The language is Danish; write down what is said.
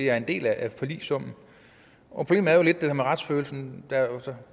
er en del af forligssummen problemet er jo lidt det der med retsfølelsen